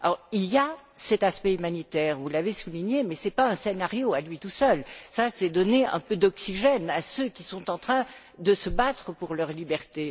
Il y a cet aspect humanitaire, vous l'avez souligné, mais ce n'est pas un scénario en soi, c'est donner un peu d'oxygène à ceux qui sont en train de se battre pour leur liberté.